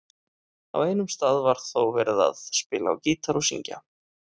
Á einum stað var þó verið að spila á gítar og syngja.